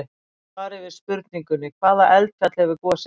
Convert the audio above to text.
Í svari við spurningunni: Hvaða eldfjall hefur gosið mest?